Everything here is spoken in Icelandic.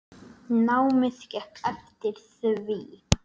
Námið gekk eftir því.